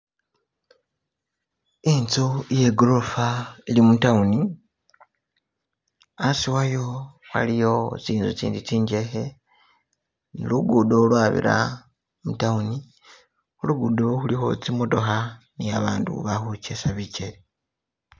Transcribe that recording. Inzu iyegorofa ili mu town hasi wayo haliyo tsinzu tsindi tsinjekhe lugudo lwabira mu town khulugudo khulikho tsimotokha ni abandu balikhujesa bijele